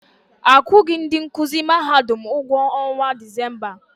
Akwughi ndị nkụzi Mahadum ụgwọ ọnwa Disemba.